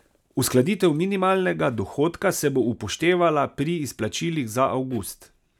Uskladitev minimalnega dohodka se bo že upoštevala pri izplačilih za avgust.